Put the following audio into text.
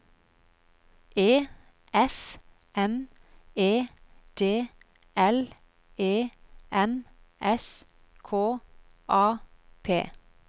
E F M E D L E M S K A P